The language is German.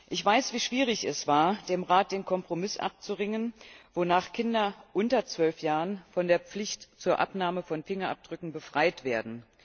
Ich weiß, wie schwierig es war, dem Rat den Kompromiss abzuringen, wonach Kinder unter zwölf Jahren von der Pflicht zur Abnahme von Fingerabdrücken befreit werden.